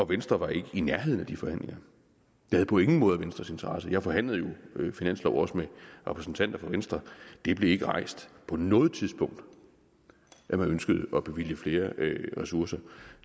venstre var ikke i nærheden af de forhandlinger det havde på ingen måde venstres interesse jeg forhandlede jo finanslov også med repræsentanter for venstre og det blev ikke rejst på noget tidspunkt at man ønskede at bevilge flere ressourcer